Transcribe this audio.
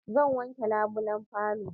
Zan wanke labulen falon